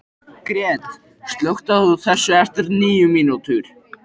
Gret, slökktu á þessu eftir níu mínútur.